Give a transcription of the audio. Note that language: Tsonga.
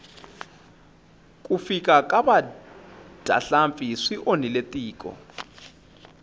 ku fika ka vadyahlampfi swi onhile tiko